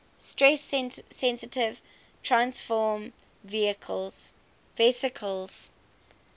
stress sensitive transfersome vesicles